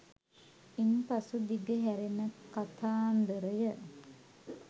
ඉන් පසු දිග හැරෙන කථාන්දරය